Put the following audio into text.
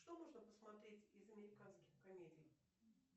что можно посмотреть из американских комедий